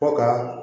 Ko ka